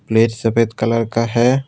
Plate सफेद colour का है।